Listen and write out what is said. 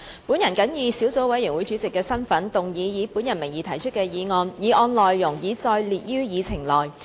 我謹以小組委員會主席的身份，動議以我名義提出的議案，議案內容已載列於議程內。